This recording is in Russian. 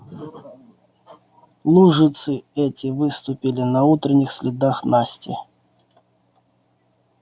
лужицы эти выступили на утренних следах насти